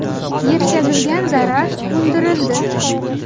Yetkazilgan zarar undirildi.